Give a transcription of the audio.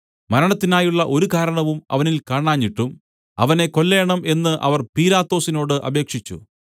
മരണത്തിനായുള്ള ഒരു കാരണവും അവനിൽ കാണാഞ്ഞിട്ടും അവനെ കൊല്ലേണം എന്ന് അവർ പീലാത്തോസിനോട് അപേക്ഷിച്ചു